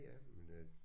Ja men øh